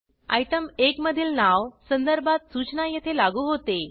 item 1 मधील नाव संदर्भात सूचना येथे लागू होते